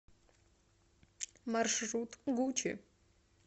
маршрут гучи